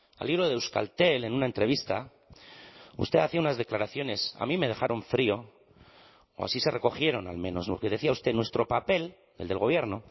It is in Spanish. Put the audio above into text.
al hilo de euskaltel en una entrevista usted hacía unas declaraciones a mí me dejaron frío o así se recogieron al menos lo que decía usted nuestro papel el del gobierno